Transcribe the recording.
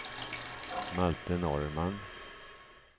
Malte Norrman